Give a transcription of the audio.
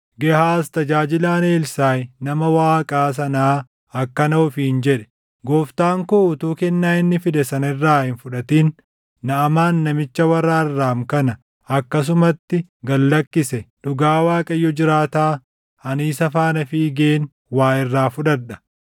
Gehaaz tajaajilaan Elsaaʼi nama Waaqaa sanaa akkana ofiin jedhe; “Gooftaan koo utuu kennaa inni fide sana irraa hin fudhatin Naʼamaan namicha warra Arraam kana akkasumatti gad lakkise. Dhugaa Waaqayyo jiraataa, ani isa faana fiigeen waa irraa fudhadha.”